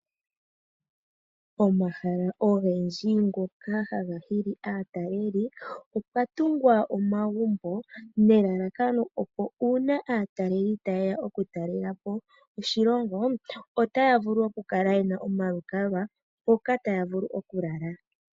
Omahala ogendji ngoka haga hili aataleli opwa tungwa omagumbo nelalakano opo uuna aataleli ta yeya okutalela po oshilongo otaya vulu okukala yena omalukalwa mpoka taya vulu okulala.